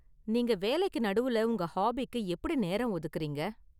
நீங்க வேலைக்கு நடுவுல உங்க ஹாபிக்கு எப்படி நேரம் ஒதுக்கறீங்க?